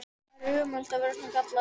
Það er ömurlegt að vera svona gallaður!